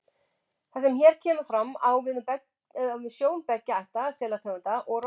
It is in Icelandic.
Það sem hér kemur fram, á við um sjón beggja ætta selategunda og rostunga.